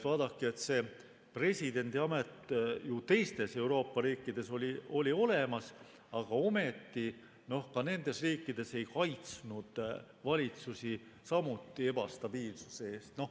Vaadake, see presidendiamet oli teistes Euroopa riikides ju olemas, aga ometi ka nendes riikides ei kaitsnud see valitsusi ebastabiilsuse eest.